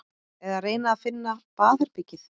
Eða reyna að finna baðherbergið.